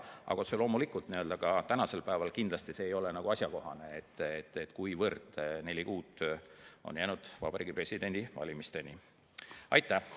Aga otse loomulikult ei ole ka see tänasel päeval asjakohane, kuivõrd Vabariigi Presidendi valimisteni on jäänud neli kuud.